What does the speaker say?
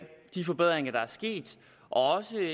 de forbedringer der er sket og